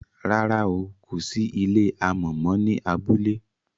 ràrá o kò sí ilé amò mọ ní abúlé